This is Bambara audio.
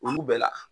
Olu bɛɛ la